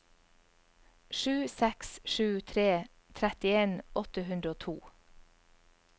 sju seks sju tre trettien åtte hundre og to